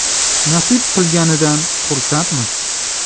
Nasib qilganidan xursandmiz.